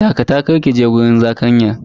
Dakata, kar kije wajen zakanyan.